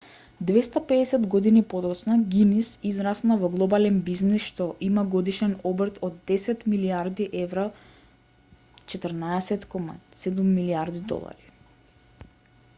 250 години подоцна гинис израсна во глобален бизнис што има годишен обрт од 10 милијарди евра 14.7 милијарди долари